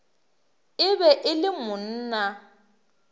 e be e le monna